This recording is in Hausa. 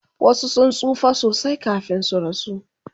wasu sun tsufa sosai kamin su rasu